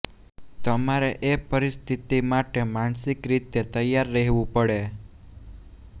તમારે એ પરિસ્થિતિ માટે માનસિક રીતે તૈયાર રહેવું પડે